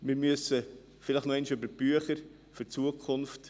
Wir müssen vielleicht noch einmal über die Bücher gehen für die Zukunft.